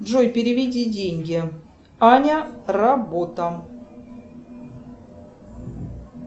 джой переведи деньги аня работа